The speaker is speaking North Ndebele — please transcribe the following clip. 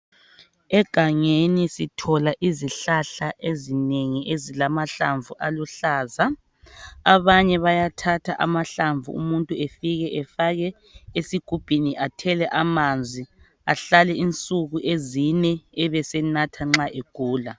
Egangeni sithola izihlahla ezinengi ezilamahlamvu aluhlaza abanye bayathatha amahlamvu umuntu efike efake esigubhini athele amanzi ahlale insuku ezine ebesenatha nxa egula.